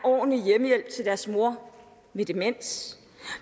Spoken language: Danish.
ordentlig hjemmehjælp til deres mor med demens